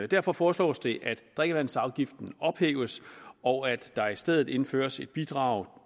derfor foreslås det at drikkevandsafgiften ophæves og at der i stedet indføres et bidrag